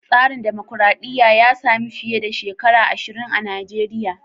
Tsarin dumukuradiyya ya sami fiye da shekara ashirin a Najeriya.